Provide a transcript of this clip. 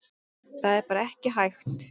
Það er bara ekki hægt